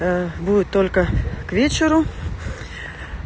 будет только к вечеру